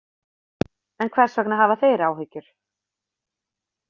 En hvers vegna hafa þeir áhyggjur?